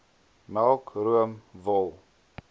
melk room wol